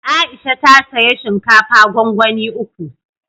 Aisha ta saya shinkafa gwangwani uku